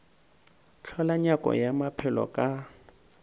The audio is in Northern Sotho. hlola nyako ya maphelo ka